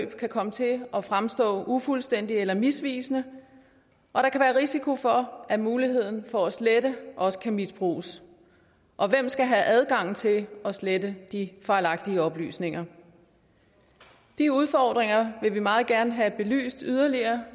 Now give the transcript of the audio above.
kan komme til at fremstå ufuldstændigt eller misvisende og der kan være risiko for at muligheden for at slette også kan misbruges og hvem skal have adgang til at slette de fejlagtige oplysninger de udfordringer vil vi meget gerne have belyst yderligere